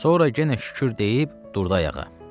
Sonra yenə şükür deyib durdu ayağa.